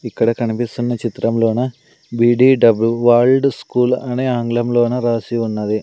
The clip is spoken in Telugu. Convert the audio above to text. ఇక్కడ కనిపిస్తున్న చిత్రంలోనా బీడీ డబ్ల్యూ వరల్డ్ స్కూల్ అనే ఆంగ్లంలోనా రాసి ఉన్నది.